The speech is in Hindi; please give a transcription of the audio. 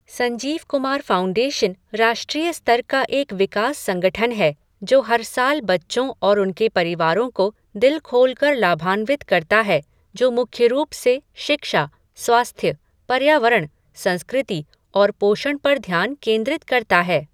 संजीव कुमार फ़ाउंडेशन राष्ट्रीय स्तर का एक विकास संगठन है, जो हर साल बच्चों और उनके परिवारों को दिल खोलकर लाभान्वित करता है, जो मुख्य रूप से शिक्षा, स्वास्थ्य, पर्यावरण, संस्कृति और पोषण पर ध्यान केंद्रित करता है।